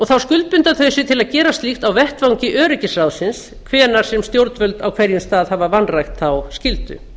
þá skuldbinda þau sig til að gera slíkt á vettvangi öryggisráðsins hvenær sem stjórnvöld á hverjum stað hafa vanrækt þá skyldu